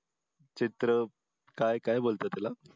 चित्र काय काय बोलतात त्याला